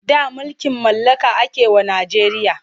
Da mulkin mallaka ake wa Najeriya.